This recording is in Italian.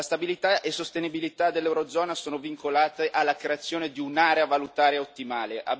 La stabilità e sostenibilità dell'Eurozona sono vincolate alla creazione di un'area valutaria ottimale.